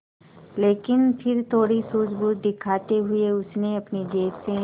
लेकिन फिर थोड़ी सूझबूझ दिखाते हुए उसने अपनी जेब से